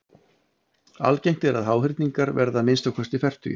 Algengt er að háhyrningar verði að minnsta kosti fertugir.